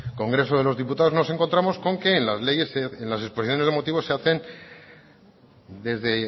congreso de los diputados nos encontramos con que en las leyes en las exposiciones de motivos se hacen desde